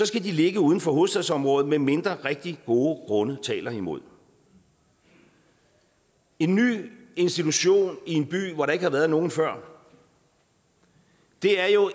skal de ligge uden for hovedstadsområdet medmindre rigtig gode grunde taler imod det en ny institution i en by hvor der ikke har været nogen før er jo